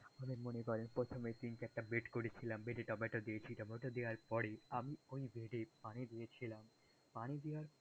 আমি মনে করেন প্রথমে তিন-চারটে ব্রেড করেছিলাম ব্রেডে টমেটো দিয়েছি টমেটো দেয়ার পরেই, আমি ওই ব্রেডে পানি দিয়েছিলাম, পানি দেয়ার,